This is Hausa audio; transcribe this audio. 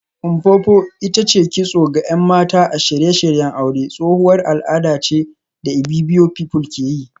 Mpopo ita ce kitso ga ‘yan mata a shirye-shiryen aure, tsohuwar al’ada ce da Ibibio pepple ke yi